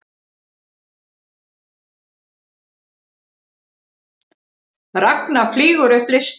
Ragna flýgur upp listann